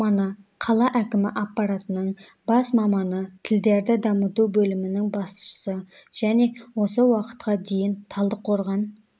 маманы қала әкімі апаратының бас маманы тілдерді дамыту бөлімінің басшысы және осы уақытқа дейін талдықорған